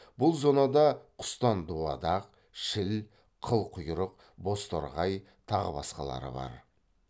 бұл зонада құстан дуадақ шіл қылқұйрық бозторғай тағы басқалары бар